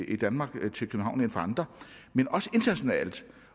i danmark end fra andre